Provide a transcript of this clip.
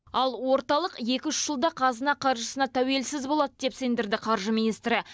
ал орталық екі үш жылда қазына қаржысына тәуелсіз болады деп сендірді қаржы министрі